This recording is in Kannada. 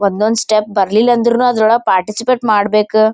ಒಂದ್ ಒಂದ್ ಸ್ಟೆಪ್ ಬರಲಿಲ್ಲಾ ಅಂದ್ರೂನು ಅದ್ರಒಳಗೆ ಪಾರ್ಟಿಸಿಪೇಟೆ ಮಾಡಬೇಕ್.